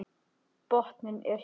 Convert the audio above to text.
Botninn er hér!